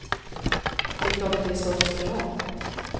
Det är klart att det är svårt att ställa om.